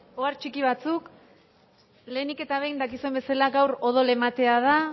ohar txiki batzuk lehenik eta behin dakizuen bezala gaur odol ematea da